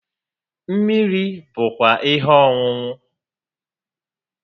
Mmiri bụkwa ihe ọṅụṅụ